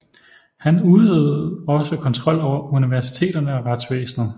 Han udøvede også kontrol over universiteterne og retsvæsenet